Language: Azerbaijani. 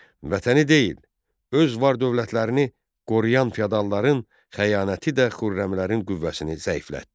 Vətəni deyil, öz var-dövlətlərini qoruyan feodalların xəyanəti də xürrəmilərin qüvvəsini zəiflətdi.